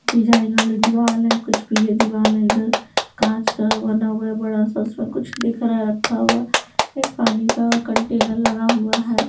Design वाले दीवार हैं कुछ पीले दीवार हैं इधर कांच का बना हुआ है बड़ा सा उसमें कुछ दिख रहा है रखा हुआ एक पानी का कंटेनर लगा हुआ है।